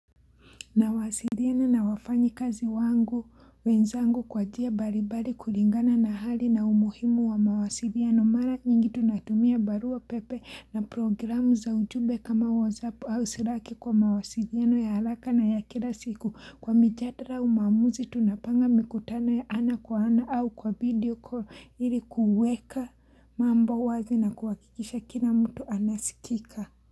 Nawasiliana na wafanyi kazi wangu wenzangu kwa njia mbalimbali kulingana na hali na umuhimu wa mawasiliano mara nyingi tunatumia barua pepe na programu za ujumbe kama WhatsApp au silaki kwa maasiliano ya haraka na ya kila siku kwa mijadala umamuzi tunapanga mikutano ya ana kwa ana au kwa video call ilikuweka mambo wazi na kuwakikisha kila mtu anasikika.